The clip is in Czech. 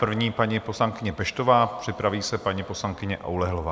První paní poslankyně Peštová, připraví se paní poslankyně Oulehlová.